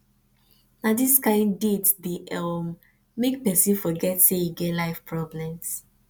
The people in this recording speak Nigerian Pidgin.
na dis kain date dey um make pesin forget sey e get life problems